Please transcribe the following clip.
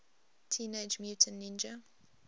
teenage mutant ninja